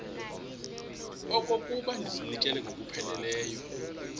okokuba ndizinikele ngokupheleleyo